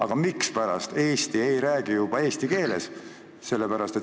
Aga mispärast Eestis ei räägita juba eesti keeles?